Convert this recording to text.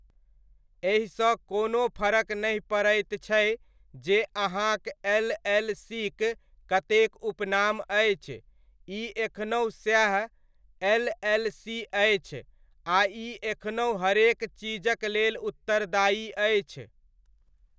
एहिसँ कोनो फरक नहि पड़ैत छै जे अहाँक एल.एल.सी.'क कतेक उपनाम अछि, ई एखनहु सएह एल.एल.सी.अछि आ ई एखनहु हरेक चीजक लेल उत्तरदायी अछि।